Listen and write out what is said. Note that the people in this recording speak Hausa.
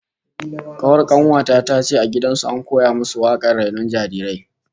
Kawar kanuwa ta tace a gidan su an koya musu wakar rainon jarirai